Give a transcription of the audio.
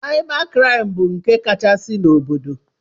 Saịba kraịm bụ nke kachasị n'obodo.